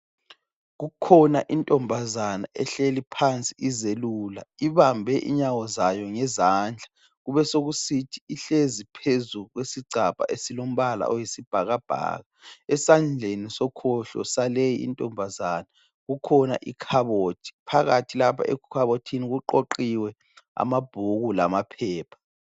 Kukhona intombazana ehleli phansi izelula, ibambe inyawo zayo ngezandla. Kubesekusithi ihlezi phezu kwesigcabha esilombala oyisibhakabhaka. Esandleni sokhohlo sale intombazana kukhona ikhabothi phakathi lapha ekhabothini kuqoqiwe amabhuku lamaphepha.